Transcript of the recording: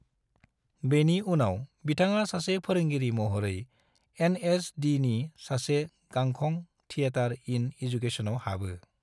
बेनि उनाव बिथाङा सासे फोरोंगिरि महरै एन.एस.डि.नि सासे गांखं, थिएटर इन एजुकेशनआव हाबो।